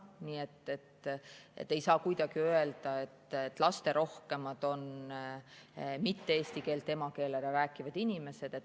Nii et ei saa kuidagi öelda, et lasterohkemad on inimesed, kelle emakeel ei ole eesti keel.